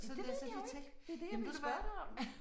Ja det ved jeg jo ikke. Det er det jeg ville spørge dig om